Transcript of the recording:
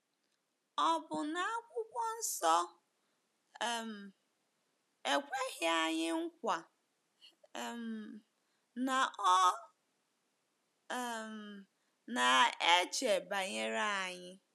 Ọ bụ na Akwụkwọ Nsọ um ekweghị anyị nkwa um na ọ um na-eche banyere anyị?